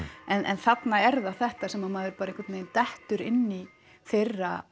en þarna er það þetta sem að maður bara einhvern veginn dettur inn í þeirra